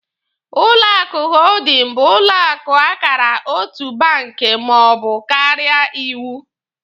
Ụlọ akụ hoodin bụ ụlọ akụ akara otu banki maọbụ karịa iwu.